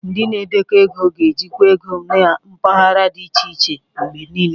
Ndị na-edekọ ego ga na ejikwa ego na mpaghara dị iche iche mgbe niile.